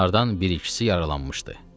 Onlardan bir-ikisi yaralanmışdı.